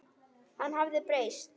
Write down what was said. Hann hafði breyst.